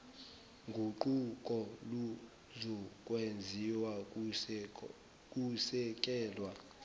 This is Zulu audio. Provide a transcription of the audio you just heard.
guquko luzokwenziwa kusekelwa